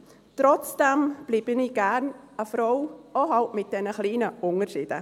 Trotzdem bleibe ich gerne eine Frau, wenn auch mit diesen kleinen Unterschieden.